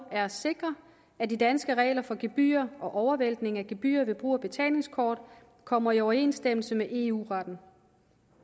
er at sikre at de danske regler for gebyrer og overvæltning af gebyrer ved brug af betalingskort kommer i overensstemmelse med eu retten